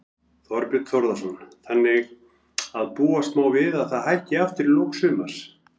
Þorbjörn Þórðarson: Þannig að má búast við að það hækki aftur í lok sumars?